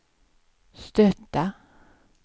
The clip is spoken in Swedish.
stöta